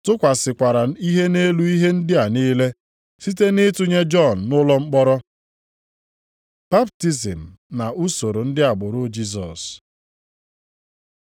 tụkwasịkwara ihe nʼelu ihe ndị a niile, site na ịtụnye Jọn nʼụlọ mkpọrọ. Baptizim na usoro ndị agbụrụ Jisọs